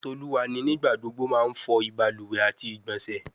Toluwani nigbagbogbo n ma fo ibaluwe ati igbonse